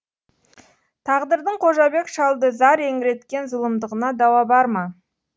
тағдырдың қожабек шалды зар еңіреткен зұлымдығына дауа бар ма